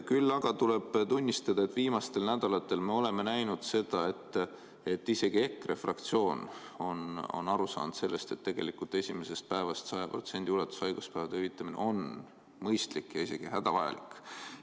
Küll aga tuleb tunnistada, et viimastel nädalatel me oleme näinud seda, et isegi EKRE fraktsioon on aru saanud sellest, et tegelikult esimesest päevast 100% ulatuses haiguspäevade hüvitamine on mõistlik ja isegi hädavajalik.